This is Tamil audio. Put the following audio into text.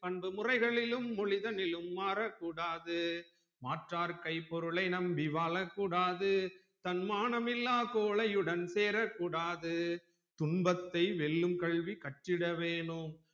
பண்பு முறைகளிலும் மொழிதலிலும் மாறக்கூடாது மாற்றார் கை பொருளை நம்பி வாழக்கூடாது தன்மானம் இல்லா கோழையுடன் சேரக்கூடாது துன்பத்தை வெல்லும் கல்வி கற்றிட வேணும்